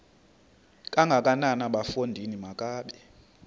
kangakanana bafondini makabe